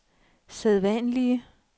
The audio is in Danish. sædvanlige